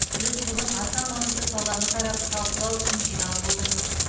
біз бүгін аса маңызды саланы қарап талқылау үшін жиналып отырмыз